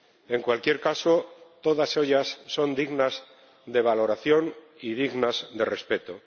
En cualquier caso, todas ellas son dignas de valoración y dignas de respeto.